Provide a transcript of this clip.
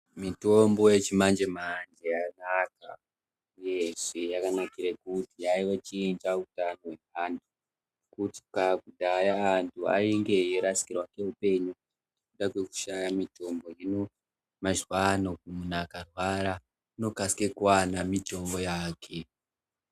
Mitombo yechimanjemanje yanaka uyezve yakanakira kuti yakuchinja ugaro hweanthu kudhaya anthu ainge eirasikirwa ngeupenyu nekuda kwekushaya mitombo hino muzawano munthu akarwara unokasika kuwana mitombo yake.